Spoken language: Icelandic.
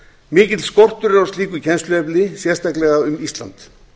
mikill skortur er á slíku kennsluefni sérstaklega um ísland